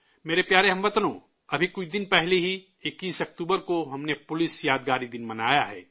میرے پیارے ہم وطنو، ابھی کچھ دن پہلے ہی 21 اکتوبر کو ہم نے پولیس کا یادگاری دن منایا ہے